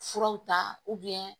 Furaw ta